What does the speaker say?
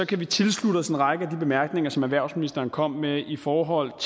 kan vi tilslutte os en række af de bemærkninger som erhvervsministeren kom med i i forhold